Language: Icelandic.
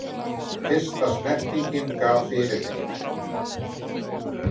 Fyrsta snertingin gaf fyrirheit